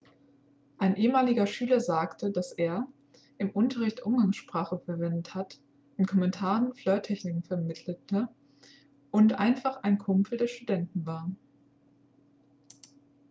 ein ehemaliger schüler sagte dass er im unterricht umgangssprache verwendet hat in kommentaren flirttechniken vermittelte und einfach ein kumpel der studenten war